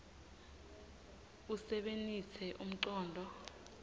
usebenitse umcondvo